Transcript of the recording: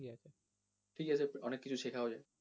ঠিক আছে অনেক কিছু শেখাও যায়,